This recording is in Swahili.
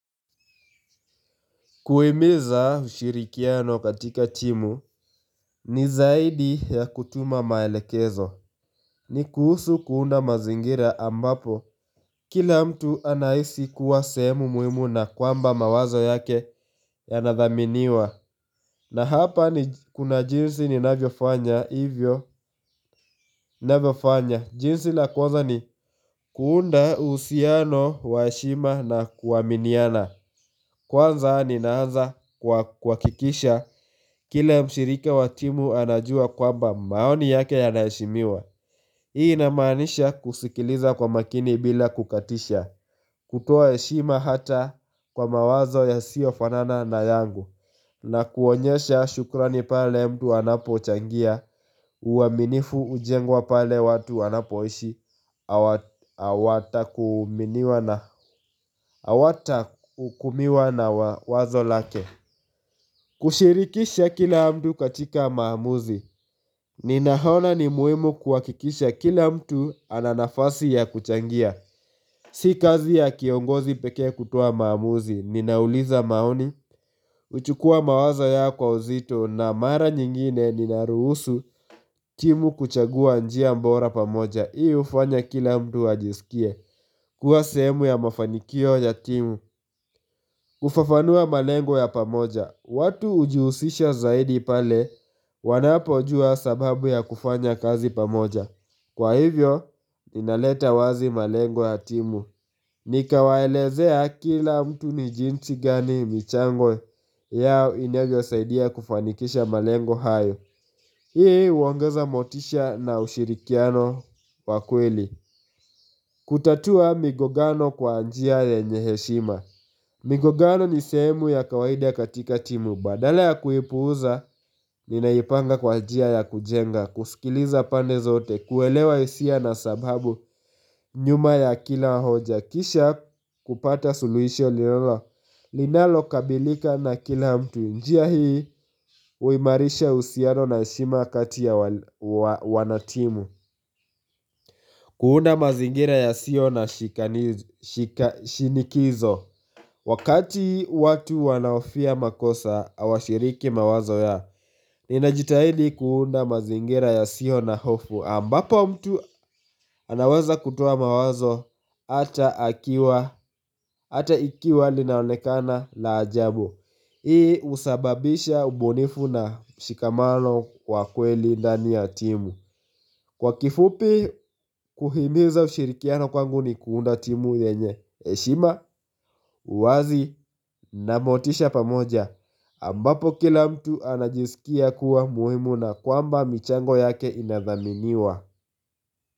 Kuhimiza ushirikiano katika timu ni zaidi ya kutuma maelekezo ni kuhusu kuunda mazingira ambapo kila mtu anahisi kuwa sehemu muhimu na kwamba mawazo yake yanadhaminiwa na hapa ni kuna jinsi ninavyofanya hivyo navyofanya jinsi la kwanza ni kuunda uhusiano wa heshima na kuaminiana Kwanza ninaanza kwa kuhakikisha kila mshirika wa timu anajua kwamba maoni yake yanaheshimiwa. Hii inamaanisha kusikiliza kwa makini bila kukatisha kutoa heshima hata kwa mawazo yasiyofanana na yangu na kuonyesha shukrani pale mtu anapochangia uaminifu hujengwa pale watu wanapoishi Hawatahukumiwa na wazo lake kushirikisha kila mtu katika maamuzi Ninaona ni muhimu kuhakikisha kila mtu ana nafasi ya kuchangia Si kazi ya kiongozi pekee kutoa maamuzi Ninauliza maoni, huchukua mawazo kwa uzito na mara nyingine ninaruhusu timu kuchagua njia bora pamoja. Hii hufanya kila mtu ajisikie kuwa sehemu ya mafanikio ya timu kufafanua malengo ya pamoja. Watu hujihusisha zaidi pale wanapojua sababu ya kufanya kazi pamoja. Kwa hivyo inaleta wazi malengo ya timu Nikawaelezea kila mtu ni jinsi gani michango yao inavyosaidia kufanikisha malengo hayo. Hii huongeza motisha na ushirikiano wa kweli kutatua migongano kwa njia yenye heshima migongano ni sehemu ya kawaida katika timu. Badala ya kuipuza, ninaipanga kwa njia ya kujenga, kusikiliza pande zote, kuelewa hisia na sababu nyuma ya kila hoja, kisha kupata suluhisho linalokabilika na kila mtu njia hii, huimarisha uhusiano na heshima kati ya wanatimu kuunda mazingira yasiyo na shinikizo Wakati watu wanahofia makosa hawashiriki mawazo yao. Ninajitahidi kuunda mazingira yasiyo na hofu ambapo mtu anaweza kutoa mawazo hata ikiwa linaonekana la ajabu. Hii husababisha ubunifu na mshikamano kwa kweli ndani ya timu. Kwa kifupi kuhimiza ushirikiano kwangu ni kuunda timu yenye eshima, uwazi na motisha pamoja ambapo kila mtu anajisikia kuwa muhimu na kwamba michango yake inadhaminiwa.